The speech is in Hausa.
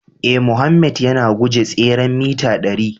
Ee, Mohammed yana guje tseren mita dari